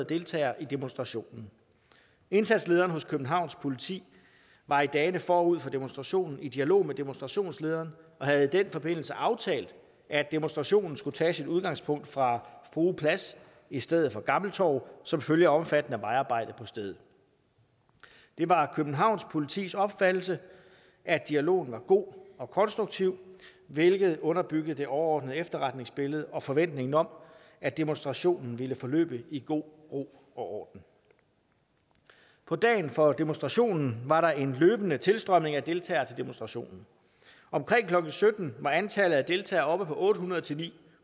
deltagere i demonstrationen indsatslederen hos københavns politi var i dagene forud for demonstrationen i dialog med demonstrationslederen og havde i den forbindelse aftalt at demonstrationen skulle tage sit udgangspunkt fra frue plads i stedet for gammel torv som følge af omfattende vejarbejde på stedet det var københavns politis opfattelse at dialogen var god og konstruktiv hvilket underbyggede det overordnede efterretningsbillede og forventningen om at demonstrationen ville forløbe i god ro og orden på dagen for demonstrationen var der en løbende tilstrømning af deltagere til demonstrationen omkring klokken sytten var antallet af deltagere oppe på otte hundrede til